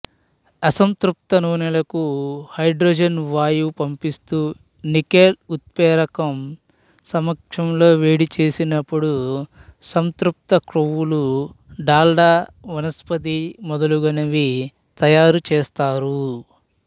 అసంతృప్త నూనెలకు హైడ్రోజన్ వాయువు పంపిస్తూ నికెల్ ఉత్ప్రేరకం సమక్షంలో వేడిచేసినపుడు సంతృప్త క్రొవ్వులు డాల్డా వనస్పతి మొదలగునవి తయారుచేస్తారు